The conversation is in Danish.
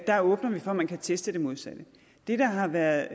der åbner vi for at man kan teste det modsatte det der har været